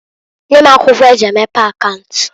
Nye m akwụkwo eji emepe akaunt.